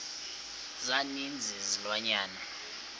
za ninzi izilwanyana